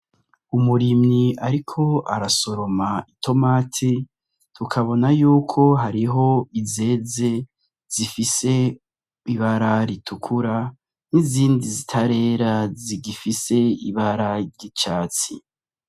Umurimyi ariko arasoroma itomati ukabona yuko hariho izeze zifise ibara ritukura n'izindi zitarera zigifise ibara ry'icatsi.